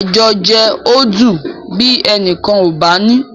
Àjọjẹ ò dùn bí ẹnìkan ò bá ní